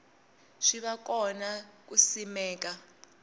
swi va kona ku simeka